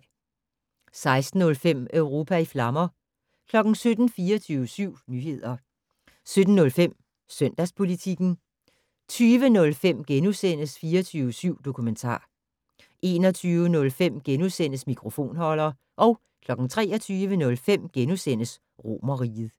16:05: Europa i flammer 17:00: 24syv Nyheder 17:05: Søndagspolitikken 20:05: 24syv Dokumentar * 21:05: Mikrofonholder * 23:05: Romerriget *